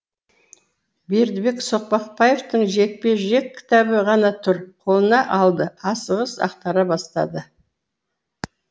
бердібек соқпақбаевтың жекпе жек кітабы ғана тұр қолына алды асығыс ақтара бастады